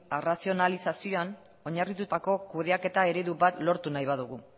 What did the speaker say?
arrazionalizazioan oinarritutako kudeaketa eredu bat lortu nahi badugu